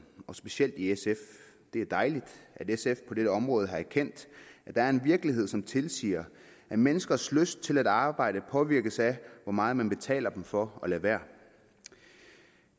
og specielt i sf det er dejligt at sf på dette område har erkendt at der er en virkelighed som tilsiger at menneskers lyst til at arbejde påvirkes af hvor meget man betaler dem for at lade være